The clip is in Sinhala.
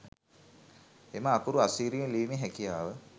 එම අකුරු අසීරුවෙන් ලිවීමේ හැකියාව